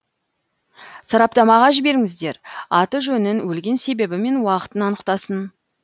сараптамаға жіберіңіздер аты жөнін өлген себебі мен уақытын анықтасын